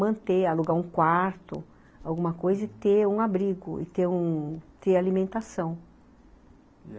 manter, alugar um quarto, alguma coisa e ter um abrigo e ter um ter alimentação.